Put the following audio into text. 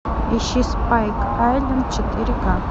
ищи спайк айлен четыре ка